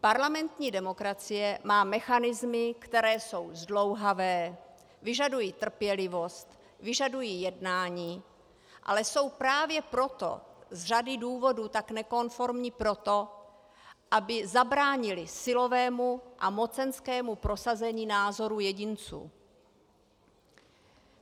Parlamentní demokracie má mechanismy, které jsou zdlouhavé, vyžadují trpělivost, vyžadují jednání, ale jsou právě proto z řady důvodů tak nekonformní proto, aby zabránily silovému a mocenskému prosazení názoru jedinců.